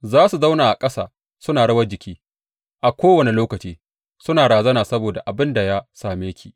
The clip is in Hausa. Za su zauna a ƙasa suna rawar jiki a kowane lokaci suna razana saboda abin da ya same ki.